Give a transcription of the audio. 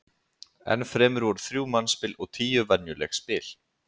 Enn fremur voru þrjú mannspil og tíu venjuleg spil.